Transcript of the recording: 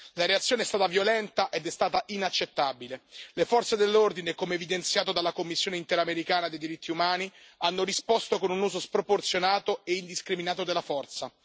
La reazione è stata violenta ed è stata inaccettabile le forze dell'ordine, come evidenziato dalla Commissione interamericana dei diritti umani, hanno risposto con un uso sproporzionato e indiscriminato della forza.